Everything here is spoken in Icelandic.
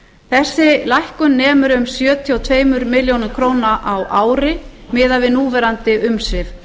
þessi lækkun nemur um sjötíu og tvær milljónir króna á ári miðað við núverandi umsvif